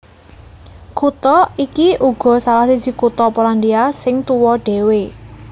Kutha iki uga salah siji kutha Polandia sing tuwa dhéwé